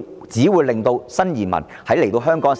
則，只會令新移民來到香港時......